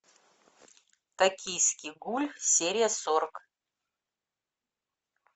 токийский гуль серия сорок